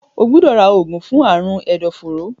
o gbódò rà oògùn fún Àrùn ẹdọforó.